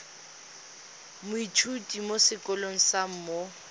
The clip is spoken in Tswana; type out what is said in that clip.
moithuti mo sekolong sa mo